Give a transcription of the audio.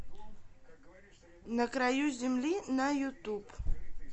на краю земли на ютуб